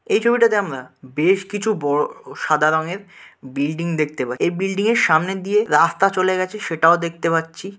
এই ছবিটাতে আমরা বেশ কিছু বড়ো অঅ সাদা রঙের বিল্ডিং দেখতে পাই এই বিল্ডিং এর সামনে দিয়ে রাস্তা চলে গেছে সেটাও দেখতে পাচ্ছি।